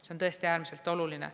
See on tõesti äärmiselt oluline.